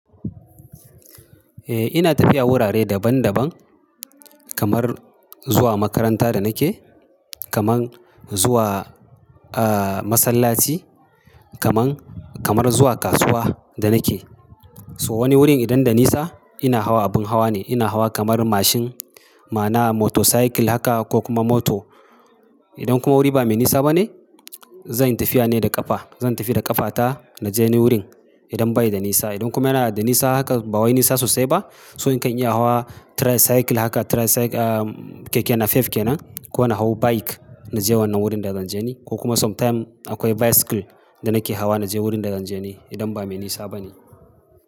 Eh ina tafiya wurare daban daban kamar zuwa makaranta da nake, kamar zuwa, ah, masallaci, kaman, kamar zuwa kasuwa da nake. To wani wurin idan da nisa ina hawa abin hawa ne, ina hawa kamar mashin ma na motorcycle haka ko kuma moto. Idan kuma wuri ba me nisa bane, zan yi tafiya ne da ƙafa. Zan tafi da ƙafata naje ni wurin idan bai da nisa. Idan kuma yana da nisa haka ba waye nisa sosai ba, so in kan iya hawa tricycle haka, tricycle, ah, keke nafef kenan, ko na hau bike naje wannan wurin da zan je ni. Ko kuma sometime akwai bicycle da nake hawa naje wurin da zan je ni idan ba me nisa bane.